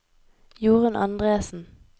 Jorun Andresen